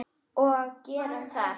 Og við gerðum það.